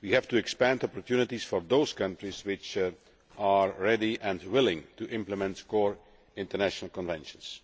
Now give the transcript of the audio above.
we have to expand opportunities for those countries which are ready and willing to implement core international conventions.